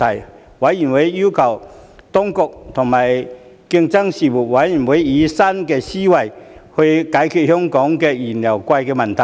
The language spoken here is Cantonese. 事務委員會要求當局和競爭事務委員會以新思維解決香港燃油昂貴的問題。